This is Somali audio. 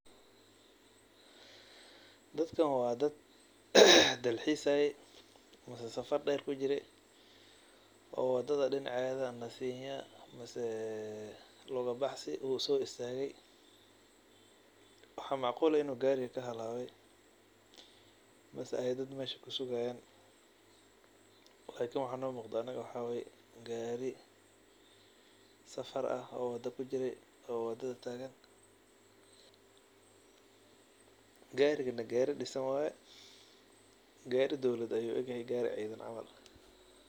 Dadkan waa dad dalxiisayay mise safar dheer kujiray oo wadada dhinaceeda nasiinyi ama lugubaxsi usoo istaagay. Waxaa macquul eh in uu gaariga ka halaabay mise ay dad meesha kusugayaan. lakini waxaa noo muuqda aniga waxaa waay gaari safar ah oo wada kujiray oo wadada taagan. Gaarigana gaari dhisan waay. Gaari dowlad ayuu u egyahay gaari ciidan camal.